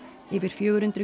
yfir fjögur hundruð